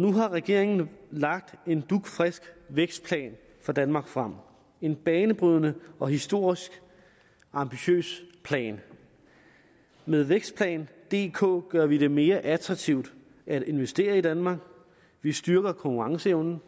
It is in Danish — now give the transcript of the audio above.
nu har regeringen lagt en dugfrisk vækstplan for danmark frem en banebrydende og historisk ambitiøs plan med vækstplan dk gør vi det mere attraktivt at investere i danmark vi styrker konkurrenceevnen